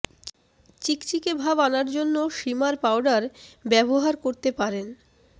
চিকচিকে ভাব আনার জন্য শিমার পাউডার ব্যবহার করতে পারেন